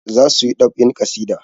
Za su yi ɗab'in ƙasida.